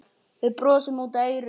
Við brosum út að eyrum.